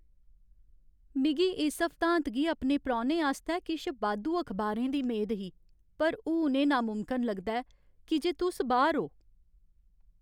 मिगी इस हफ्तांत गी अपने परौह्नें आस्तै किश बाद्धू अखबारें दी मेद ही, पर हून एह् नामुमकन लगदा ऐ की जे तुस बाह्‌र ओ।